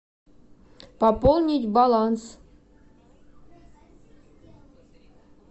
пополнить баланс